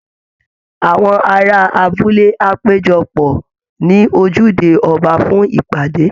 Àwọn ará abúlé á péjọ pọ̀ ní ojúde ọba fún ìpàdé